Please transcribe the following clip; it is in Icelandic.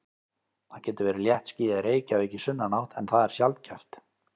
Það getur verið léttskýjað í Reykjavík í sunnanátt en það er sjaldgæft.